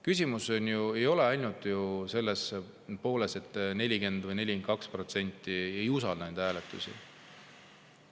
Küsimus ei ole ainult ju selles, et 40 või 42% ei usalda neid hääletusi.